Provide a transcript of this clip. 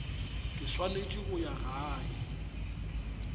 ke swanetse go ya gae